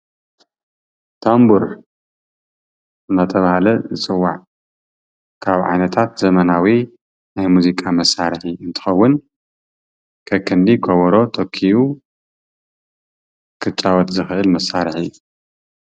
ታምቡር አንዳተባሃለ ዝፅዋዕ ካብ ዓይነታት ዘመናዊ ናይ ሙዚቃ መሳርሒ እንትከውን ከክንዲ ከበሮ ተኪኡ ክጫወት ዝክእል መሳርሒ እዩ።